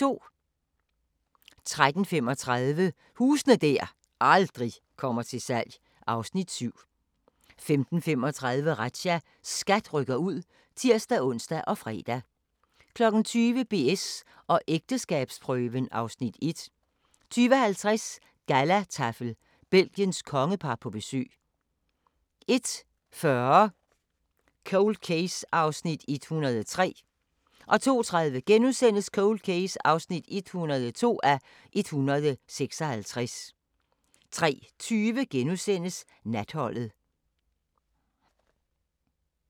13:35: Huse der aldrig kommer til salg (Afs. 7) 15:35: Razzia - SKAT rykker ud (tir-ons og fre) 20:00: BS & ægteskabsprøven (Afs. 1) 20:50: Gallataffel - Belgiens kongepar på besøg 01:40: Cold Case (103:156) 02:30: Cold Case (102:156)* 03:20: Natholdet *